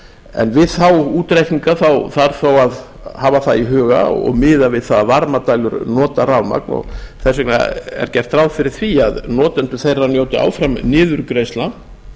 en við þá útreikninga þarf að hafa það í huga og miðað við það að varmadælur nota rafmagn og þess vegna er gert ráð fyrir því að notendur þeirra njóta áfram niðurgreiðslna